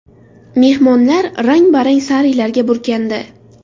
Mehmonlar rang-barang sarilarga burkandi.